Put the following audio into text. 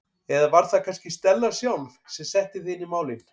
Eða var það kannski Stella sjálf sem setti þig inn í málin?